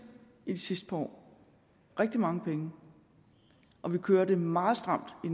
i de sidste par år rigtig mange penge og vi kører det meget stramt i